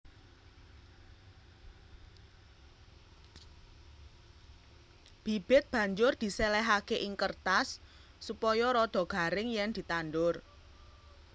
Bibit banjur diséléhaké ing kêrtas supaya rada garing yèn ditandur